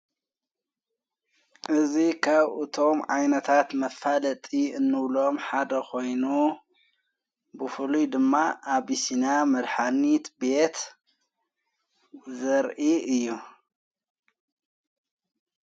እዙ ኻብኡ እቶም ዓይነታት መፋለጢ እኖብሎም ሓደ ኾይኑ ብፉሉይ ድማ ኣብሲና መድኃኒት ቤት ዘርኢ እዩ።